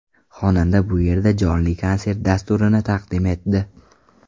Xonanda bu yerda jonli konsert dasturini taqdim etdi.